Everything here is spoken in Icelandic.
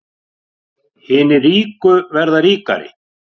Hinir ríku verða fleiri og ríkari